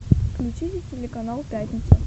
включите телеканал пятница